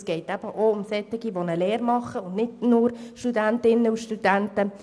Es geht nicht nur um Studentinnen und Studenten, sondern auch um junge Menschen, die eine Lehre absolvieren.